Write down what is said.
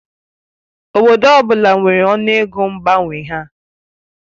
Obodo ọ bụla nwere ọnụ ego mgbanwe ha.